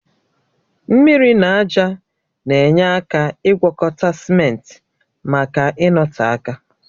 Mmiri na ájá na-enye aka ịgwọkọta simenti maka ịnọte aka